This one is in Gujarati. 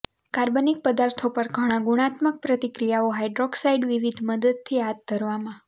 કાર્બનિક પદાર્થો પર ઘણા ગુણાત્મક પ્રતિક્રિયાઓ હાઇડ્રોક્સાઇડ વિવિધ મદદથી હાથ ધરવામાં